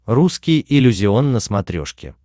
русский иллюзион на смотрешке